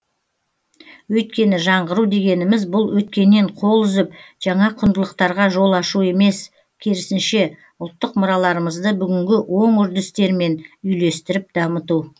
өйткені жаңғыру дегеніміз бұл өткеннен қол үзіп жаңа құндылықтарға жол ашу емес керісінше ұлттық мұраларымызды бүгінгі оң үрдістермен үйлестіріп дамыту